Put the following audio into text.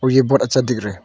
ये बड़ा अच्छा दिख रहा है।